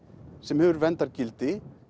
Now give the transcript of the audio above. sem hefur verndargildi